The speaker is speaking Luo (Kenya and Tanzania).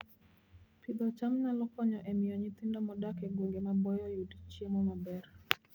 Pidho cham nyalo konyo e miyo nyithindo modak e gwenge maboyo oyud chiemo maber